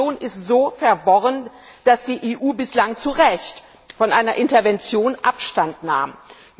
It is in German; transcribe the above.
Die Situation ist so verworren, dass die EU bislang zu Recht von einer Intervention Abstand genommen hat.